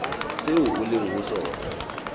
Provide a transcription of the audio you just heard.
seo o leng ho sona